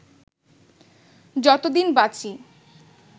যতদিন বাঁচি